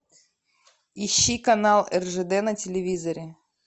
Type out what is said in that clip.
ищи канал ржд на телевизоре